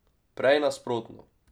Prej nasprotno.